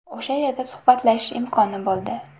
O‘sha yerda suhbatlashish imkoni bo‘ldi.